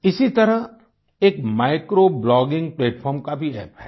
इसी तरह एक माइक्रो ब्लॉगिंग प्लैटफार्म का भी अप्प है